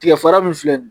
Tigɛ fara min filɛ nin